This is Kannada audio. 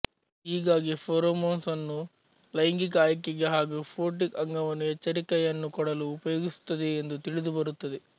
ಹೀಗಾಗಿ ಫೆರೋಮೋನ್ಸ್ ಅನ್ನು ಲೈಂಗಿಕ ಆಯ್ಕೆಗೆ ಹಾಗು ಫೋಟಿಕ್ ಅಂಗವನ್ನು ಎಚ್ಚರಿಕಯನ್ನು ಕೊಡಲು ಉಪಯೋಗಿಸುತ್ತದೆ ಎಂದು ತಿಳಿದುಬರುತ್ತದೆ